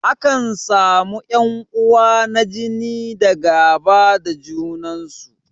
Akan samu ƴan uwa na jini da gaba da junan su.